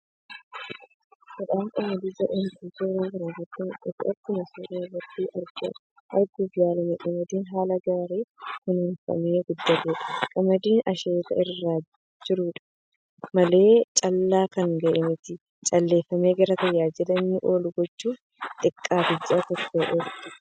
Midhaan Qamadii jedhamutu suuraa kanarrati mul'ata. Akkuma suuraa irratti arguuf yaalame qamadii haala gaarin kunuunfamee guddateedha. Qamadii asheeta irra jiruudha malee callaaf kan gahe miti. Calleeffamee gara tajaajila inni ooluf gochuuf yoo xiqqaate ji'a 1 ol ni tura.